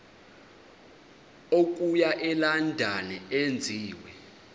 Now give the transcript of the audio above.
okuya elondon enziwe